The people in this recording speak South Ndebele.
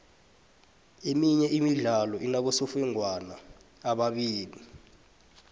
iminye imidlalo inabosofengwana ababili